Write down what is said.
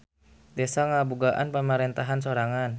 Desa ngabogaan pamarentahan sorangan.